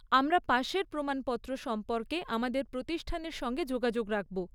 আমরা পাশের প্রমাণপত্র সম্পর্কে আমাদের প্রতিষ্ঠানের সঙ্গে যোগাযোগ রাখব।